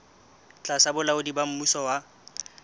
tlasa bolaodi ba mmuso wa